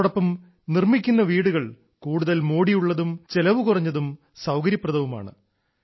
അതോടൊപ്പം നിർമ്മിക്കുന്ന വീടുകൾ കൂടുതൽ മോടിയുള്ളതും ചെലവുകുറഞ്ഞതും സൌകര്യപ്രദവുമാണ്